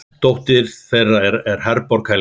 Dóttir þeirra er Herborg Helga.